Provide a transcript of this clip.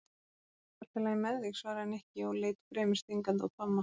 Er ekki allt lagi með þig? svaraði Nikki og leit fremur stingandi á Tomma.